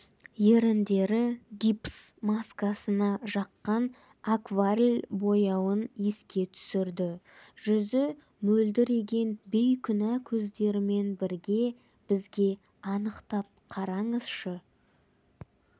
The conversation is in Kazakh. еріндері гипс маскасына жаққан акварль бояуын еске түсірді жүзі мөлдіреген бейкүнә көздерімен бірге бізге анықтап қараңызшы